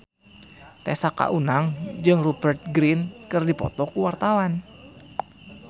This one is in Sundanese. Tessa Kaunang jeung Rupert Grin keur dipoto ku wartawan